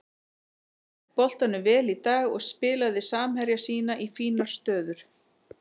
Hélt boltanum vel í dag og spilaði samherja sína í fínar stöður.